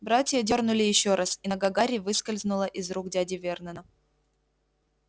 братья дёрнули ещё раз и нога гарри выскользнула из рук дяди вернона